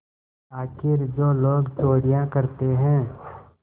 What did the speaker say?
आखिर जो लोग चोरियॉँ करते हैं